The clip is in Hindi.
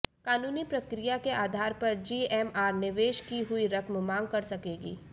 कानूनी प्रक्रिया के आधार पर जीएमआर निवेश की हुई रकम मांग कर सकेगी